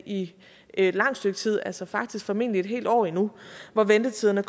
i et langt stykke tid altså faktisk formentlig et helt år endnu hvor ventetiderne